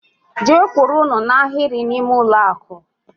Gee kwụrụ n' Ahiri na ime ụlọ akụ!!!